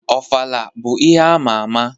Ofala bụ ihe ama ama.